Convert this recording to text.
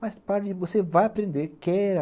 Mas pare, você vai aprender